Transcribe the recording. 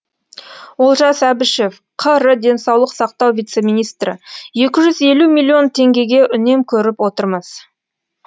олжас әбішев қр денсаулық сақтау вице министрі екі жүз елу миллион теңгеге үнем көріп отырмыз